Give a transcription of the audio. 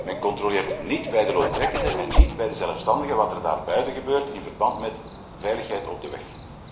Men controleert niet bij de loontrekkende en niet bij de zelfstandige wat er daarbuiten gebeurt in verband met de veiligheid op de weg.